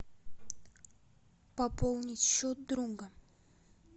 пополнить счет друга